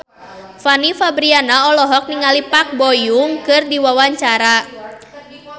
Fanny Fabriana olohok ningali Park Bo Yung keur diwawancara